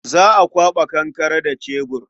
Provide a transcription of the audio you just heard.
Za a kwaɓa kankare da cebur.